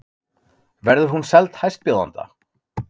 Verður hún seld hæstbjóðanda?